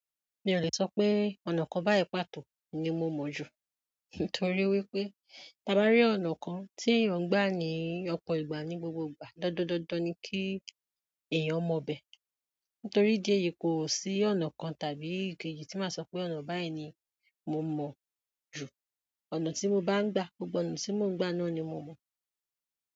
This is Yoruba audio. Mi ò lè sọ pé ọ̀nà kan báyìí pàtó ni mo mọ̀ ju. Nítorí wípé, tabá rí ọ̀nà kan tí èèyàn ń gbà ní ọpọ̀ ìgbà ní gbogbogbà, dandandan ni kí èèyàn mọ bẹ́. Nítorí idi èyí yìí kò sí ọ̀nà kan tàbí ikeji yìí tí màá sọ pé ọ̀nà báyìí ni mo mọ̀ ju. Ọ̀nà tí mo bá ń gbà, gbogbo ọ̀nà tí mo ń gbà náà ni mo mọ̀.